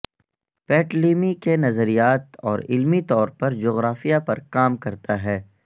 Ptolemy کے نظریات اور علمی طور پر جغرافیہ پر کام کرتا ہے